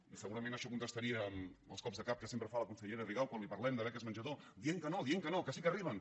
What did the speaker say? i segurament això contestaria els cops de cap que sempre fa la consellera rigau quan li parlem de beques menjador dient que no dient que no que sí que arriben